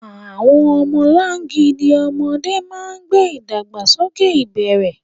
Àwọn ọmọlangidi ọmọdé máa ń gbé ìdàgbàsókè ìbẹ̀rẹ̀.